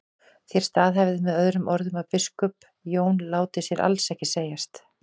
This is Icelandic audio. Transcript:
Þér staðhæfið með öðrum orðum að biskup Jón láti sér alls ekki segjast.